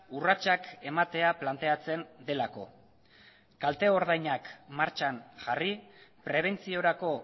urratsak ematea planteatzen delako kalte ordainak martxan jarri prebentziorako